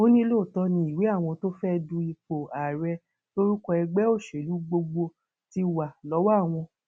ó ní lóòótọ ni ìwé àwọn tó fẹẹ du ipò ààrẹ lórúkọ ẹgbẹ òṣèlú gbogbo ti wà lọwọ àwọn